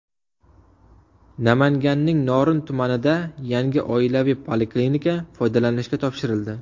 Namanganning Norin tumanida yangi oilaviy poliklinika foydalanishga topshirildi.